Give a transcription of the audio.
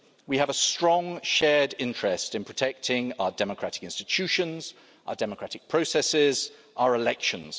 We have a strong shared interest in protecting our democratic institutions, our democratic processes and our elections.